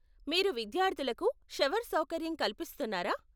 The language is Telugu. మీరు విద్యార్థులకు షవర్ సౌకర్యం కల్పిస్తున్నారా?